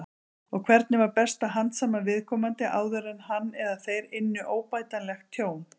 Og hvernig var best að handsama viðkomandi áður en hann eða þeir ynnu óbætanlegt tjón?